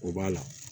O b'a la